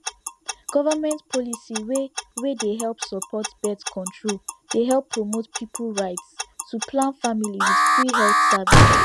government policy wey wey dey support birth control dey help promote people rights to plan family with free health service